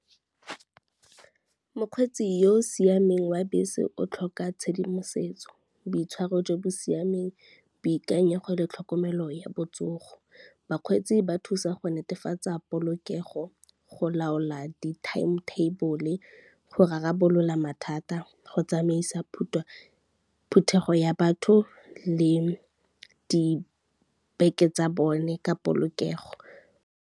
Mokgweetsi yo o siameng wa bese o tlhoka tshedimosetso, boitshwaro jo bo siameng, boikanyego le tlhokomelo ya botsogo. Bakgweetsi ba thusa go netefatsa polokego, go laola di-timetable, go rarabolola mathata, go tsamaisa phuthego ya batho le di beke tsa bone ka polokego.